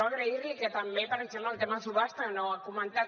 agrair li que també per exemple en el tema de subhasta no ho ha comentat